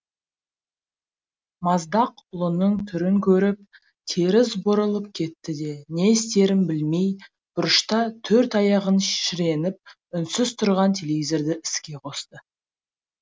маздақ ұлының түрін көріп теріс бұрылып кетті де не істерін білмей бұрышта төрт аяғын шіреніп үнсіз тұрған телевизорды іске қосты